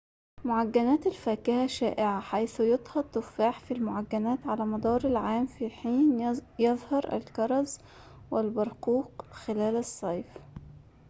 معجنات الفاكهة شائعة حيث يُطهى التفاح في المعجنات على مدار العام في حين يظهر الكرز والبرقوق خلال الصيف